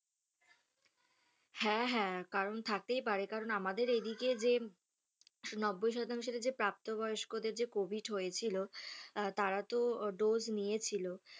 হ্যাঁ হ্যাঁ কারণ থাকতেই পারে কারণ আমাদের এই দিকে যে নব্বুই শতাংশ যে প্রাপ্ত বয়স্কদের যে COVID হয়েছিলো, তারা তো dose নিয়েছিল।